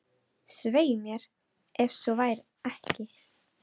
Svei mér, ef svo var ekki.